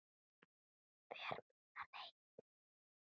Fer mína leið.